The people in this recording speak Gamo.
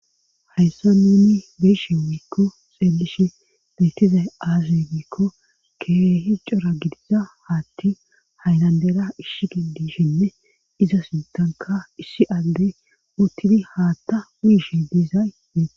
hayssa nuni beeshe wiikko xeelishe beyttizay aaze giikko keehi cora gidiza haatti haynandera ishi gidishinne iza sintanka isshi aldey uttidi haatta muyishe diizay dee